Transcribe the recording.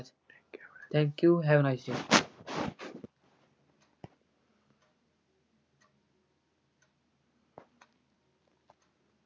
Thank you, have a nice day